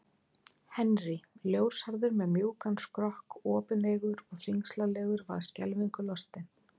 Henry, ljóshærður með mjúkan skrokk, opineygur og þyngslalegur, varð skelfingu lostinn.